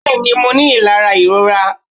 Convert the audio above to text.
bẹẹni, mo ní ilara irorà